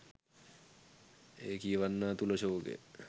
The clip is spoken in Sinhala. එය කියවන්නා තුළ ශෝකය